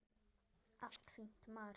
Allt fínt, maður.